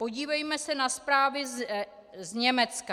Podívejme se na zprávy z Německa.